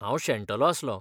हांव शेणटलों आसलों.